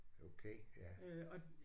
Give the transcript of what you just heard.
Okay ja